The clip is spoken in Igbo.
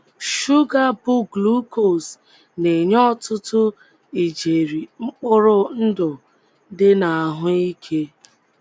Shuga bụ́ glucose na - enye ọtụtụ ijeri mkpụrụ ndụ dị n’ahụ́ ike.